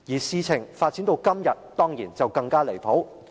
事情發展至今天，當然是更加離譜。